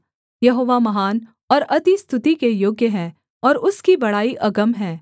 यहोवा महान और अति स्तुति के योग्य है और उसकी बड़ाई अगम है